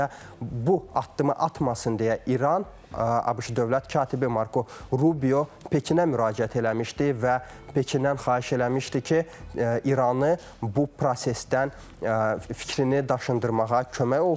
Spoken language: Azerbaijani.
Elə bu addımı atmasın deyə İran, ABŞ dövlət katibi Marko Rubio Pekinə müraciət eləmişdi və Pekindən xahiş eləmişdi ki, İranı bu prosesdən fikrini daşındırmağa kömək olsun.